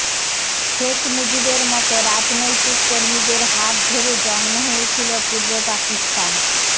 শেখ মুজিবের মতো রাজনৈতিক কর্মীদের হাত ধরে জন্ম হয়েছিল পূর্ব পাকিস্তান